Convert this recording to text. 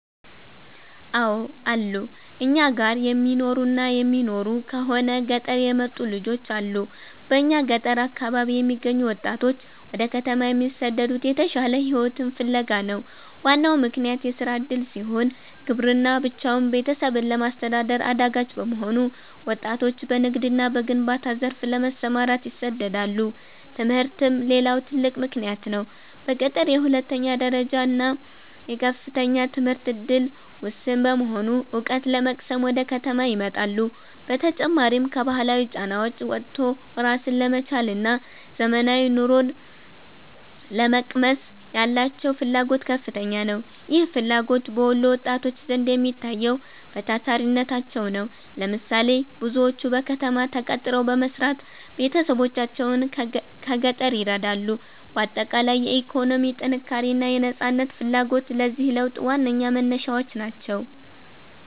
አው አሉ, እኛ ጋር የሚማሩና የሚኖሩ ከሆነ ገጠር የመጡ ልጆች አሉ በእኛ ገጠር አካባቢ የሚገኙ ወጣቶች ወደ ከተማ የሚሰደዱት የተሻለ ሕይወትን ፍለጋ ነው። ዋናው ምክንያት የሥራ ዕድል ሲሆን፣ ግብርና ብቻውን ቤተሰብን ለማስተዳደር አዳጋች በመሆኑ ወጣቶች በንግድና በግንባታ ዘርፍ ለመሰማራት ይሰደዳሉ። ትምህርትም ሌላው ትልቅ ምክንያት ነው። በገጠር የሁለተኛ ደረጃና የከፍተኛ ትምህርት ዕድል ውስን በመሆኑ፣ ዕውቀት ለመቅሰም ወደ ከተማ ይመጣሉ። በተጨማሪም፣ ከባህላዊ ጫናዎች ወጥቶ ራስን ለመቻልና ዘመናዊ ኑሮን ለመቅመስ ያላቸው ፍላጎት ከፍተኛ ነው። ይህ ፍላጎት በወሎ ወጣቶች ዘንድ የሚታየው በታታሪነታቸው ነው። ለምሳሌ፦ ብዙዎቹ በከተማ ተቀጥረው በመስራት ቤተሰቦቻቸውን ከገጠር ይረዳሉ። ባጠቃላይ፣ የኢኮኖሚ ጥንካሬና የነፃነት ፍላጎት ለዚህ ለውጥ ዋነኛ መነሻዎች ናቸው።